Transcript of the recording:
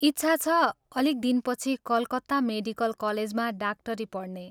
इच्छा छ अलिक दिनपछि कलकत्ता मेडिकल कलेजमा डाक्टरी पढ्ने।